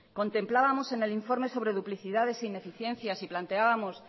contemplábamos en el informe sobre duplicidades e ineficiencias y planteábamos